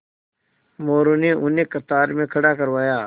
मोरू ने उन्हें कतार में खड़ा करवाया